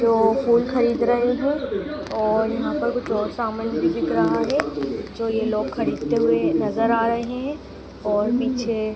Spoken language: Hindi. वो फूल खरीद रहे हैं और यहाँ पर कुछ और समान भी दिख रहा है जो ये लोग खरीदते हुए नज़र आ रहे हैं और पीछे --